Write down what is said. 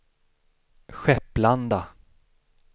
Skepplanda